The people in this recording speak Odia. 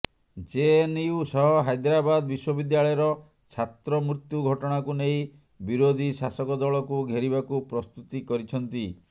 ଜେଏନ୍ୟୁ ସହ ହାଇଦ୍ରାବାଦ ବିଶ୍ୱବିଦ୍ୟାଳୟର ଛାତ୍ର ମୃତ୍ୟୁ ଘଟଣାକୁ ନେଇ ବିରୋଧୀ ଶାସକଦଳକୁ ଘେରିବାକୁ ପ୍ରସ୍ତୁତି କରିଛନ୍ତି